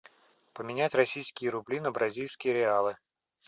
поменять российские рубли на бразильские реалы